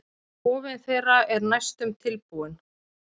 Kofinn þeirra er næstum tilbúinn.